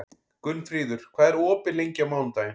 Gunnfríður, hvað er opið lengi á mánudaginn?